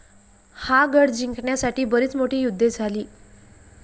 हा गड जिंकण्यासाठी बरीच मोठी युद्धे झाली.